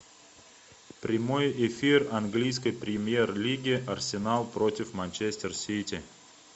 прямой эфир английской премьер лиги арсенал против манчестер сити